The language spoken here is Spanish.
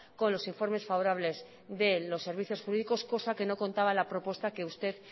con los informes favorables de los servicios jurídicos cosa que no contaba la propuesta que usted